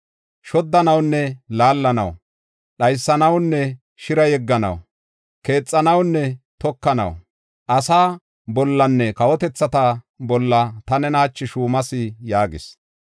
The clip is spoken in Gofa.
Shoddanawunne laallanaw, dhaysanawunne shira yegganaw, keexanawunne tokanaw, asaa bollanne kawotethata bolla ta nena hachi shuumas” yaagis.